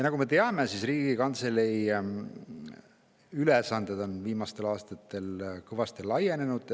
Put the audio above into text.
Nagu me teame, on Riigikantselei ülesanded viimastel aastatel kõvasti laienenud.